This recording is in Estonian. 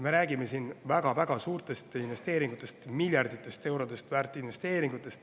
Me räägime siin väga-väga suurtest investeeringutest, miljardeid eurosid väärt investeeringutest.